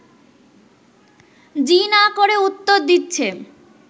জি না করে উত্তর দিচ্ছে